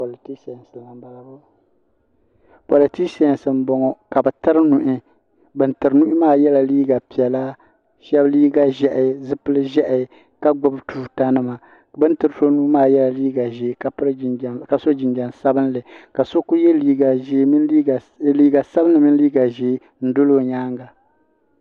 Politisa nima m boŋɔ ka bɛ tiri nuhi bin tiri nuhi maa yela liiga piɛla sheba liiga ʒehi zipil'ʒehi ka gbibi tuuta nima bini tiri so nua maa yela liiga ʒee ka so jinjiɛm sabinli ka so kuli ye liiga sabinli mini liiga ʒee n doli o nyaanga.